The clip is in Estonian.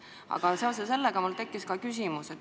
Aga seoses sellega tekkis mul ka küsimus.